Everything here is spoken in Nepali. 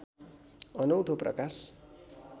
अनौठो प्रकाश